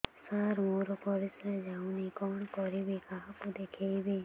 ସାର ମୋର ପରିସ୍ରା ଯାଉନି କଣ କରିବି କାହାକୁ ଦେଖେଇବି